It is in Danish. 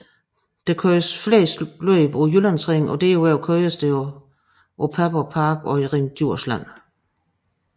Der køres flest løb på Jyllandsringen og derudover køres der på Padborg Park og Ring Djursland